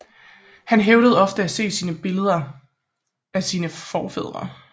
Han hævdede ofte at se billeder af sine forfædre